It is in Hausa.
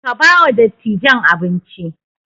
Ka ba wa dattijan abinci!